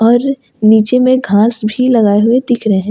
और नीचे में घास भी लगाए हुए दिख रहे हैं।